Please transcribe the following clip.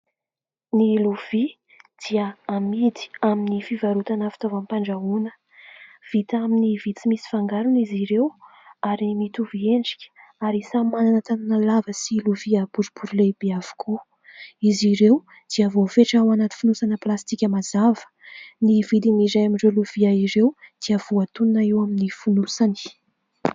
Ny lovia dia amidy amin'ny fivarotana fitaovam-pandrahoana vita amin'ny vy tsy misy fangarona izy ireo ary mitovy endrika ary samy manana tanana lava sy lovia boribory lehibe avokoa. Izy ireo dia voafetra ao anaty fonosana plastika mazava. Ny vidiny iray amin'ireo lovia ireo dia voatonona eo amin'ny fonosany.